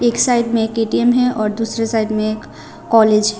एक साइड में एक ए_टी_एम है और दूसरे साइड में एक कॉलेज ।